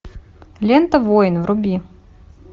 лента воин вруби